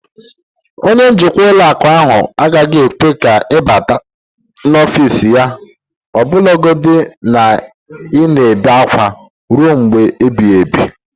Onye njikwa ụlọ akụ ahụ agaghị ekwe ka ị bata n'ọfịs ya ọbụlagodi na ị na-ebe akwa ruo mgbe ebighị ebi